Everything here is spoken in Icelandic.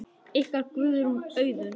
Ykkar, Guðrún Auðuns.